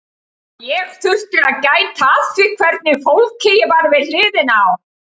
Og ég þurfti að gæta að því hvernig fólki ég var við hliðina á.